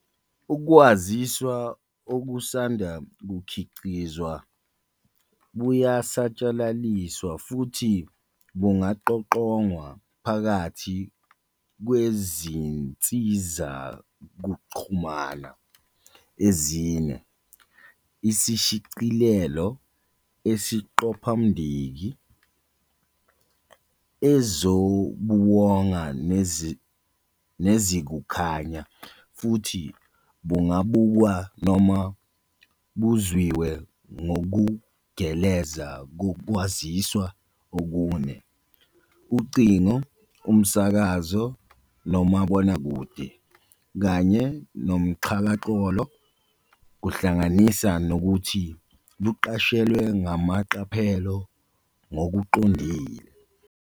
Ukwaziswa okusanda kukhiqizwa buyasatshalaliswa futhi bungaqoqongwa phakathi kwezinsizakuxhamana ezine - isishicilelo, isiqophamdiki, ezobuwonga, nezikukhanya - futhi bungabukwa noma buzwiwe ngokugeleza kokwaziswa okune - ucingo, umsakazo nomabonakude, kanye noxhakaxholo kuhlanganisa nokuthi buqashelwe ngamaqaphelo ngokuqondile.